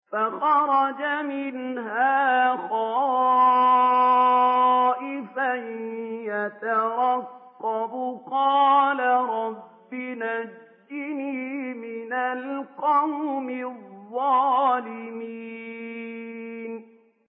فَخَرَجَ مِنْهَا خَائِفًا يَتَرَقَّبُ ۖ قَالَ رَبِّ نَجِّنِي مِنَ الْقَوْمِ الظَّالِمِينَ